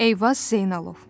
Eyvaz Zeynalov.